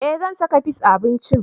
Eh zan saka fis a abincin